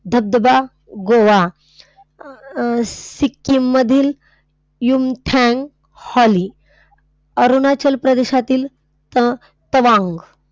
धबधबा गोवा, अह सिक्कीममधील युमथांग valley, अरुणाचल प्रदेशातील अह तवांग.